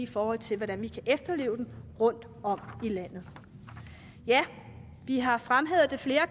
forhold til hvordan vi kan efterleve den rundtom i landet vi har fremhævet flere